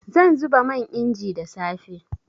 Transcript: Zan zuba man inji da safe.